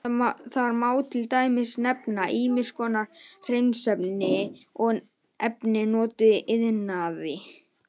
Þar má til dæmis nefna ýmiss konar hreinsiefni og efni notuð í iðnaði.